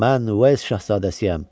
Mən şahzadəsiyəm!